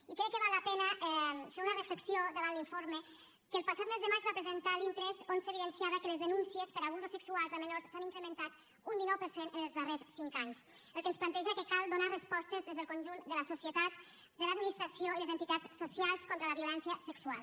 i crec que val la pena fer una reflexió davant l’informe que el passat mes de maig va presentar l’intress on s’evidenciava que les denúncies per abusos sexuals a menors s’han incrementat un dinou per cent en els darrers cinc anys el que ens planteja que cal donar respostes des del conjunt de la societat de l’administració i les entitats socials contra la violència sexual